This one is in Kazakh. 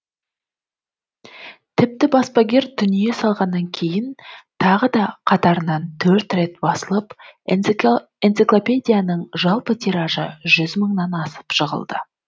тіпті баспагер дүние салғаннан кейін тағы да қатарынан төрт рет басылып энциклопедияның жалпы тиражы жүз мыңнан асып жығылды